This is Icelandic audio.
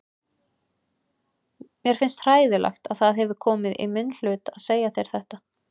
Mér finnst hræðilegt að það hefur komið í minn hlut að segja þér þetta.